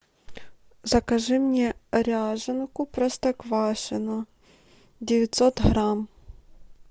закажи мне ряженку простоквашино девятьсот грамм